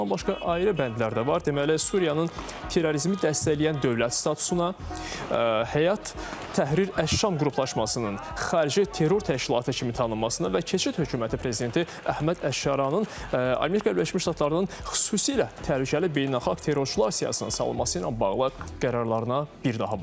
Bundan başqa ayrı bəndlər də var, deməli Suriyanın terrorizmi dəstəkləyən dövlət statusuna, Həyat Təhrir Əş-Şam qruplaşmasının xarici terror təşkilatı kimi tanınmasına və keçid hökuməti prezidenti Əhməd Əşşaranın Amerika Birləşmiş Ştatlarının xüsusilə təhlükəli beynəlxalq terrorçular siyahısına salınması ilə bağlı qərarlarına bir daha baxılacaq.